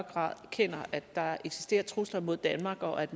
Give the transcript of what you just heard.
grad erkender at der eksisterer trusler mod danmark og at